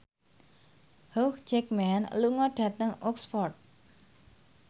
Hugh Jackman lunga dhateng Oxford